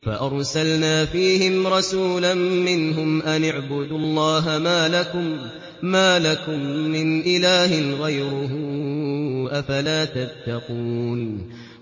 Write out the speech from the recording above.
فَأَرْسَلْنَا فِيهِمْ رَسُولًا مِّنْهُمْ أَنِ اعْبُدُوا اللَّهَ مَا لَكُم مِّنْ إِلَٰهٍ غَيْرُهُ ۖ أَفَلَا تَتَّقُونَ